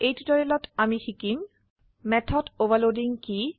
এই টিউটোৰিয়েলত আমি শিকিম মেথড অভাৰলোডিং কি